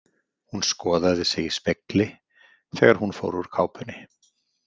Hún skoðaði sig í spegli þegar hún fór úr kápunni.